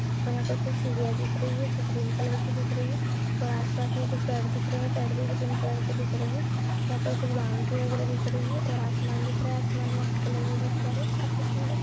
और यहां पर कुछ सीढियाँ दिख रही है जो ग्रीन कलर की दिख रही है और आसपास में कुछ पेड़ दिख रहे हैं पेड़ भी ग्रीन कलर के दिख रहे हैं यहां पर कुछ बाउंड्री वगैरा दिख रही है और आसमान दिख रहा है आसमान व्हाइट कलर में दिख रहा है काफी सुंदर --